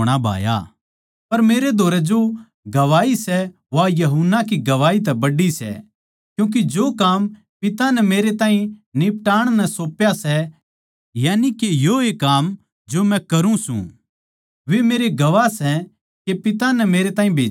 पर मेरै धोरै जो गवाही सै वा यूहन्ना की गवाही तै बड्डी सै क्यूँके जो काम पिता नै मेरै ताहीं निपटाण नै सौप्या सै यानिके योए काम जो मै करूँ सूं वे मेरे गवाह सै के पिता नै मेरैताहीं भेज्या सै